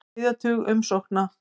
Á þriðja tug umsókna